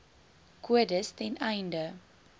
kodes ten einde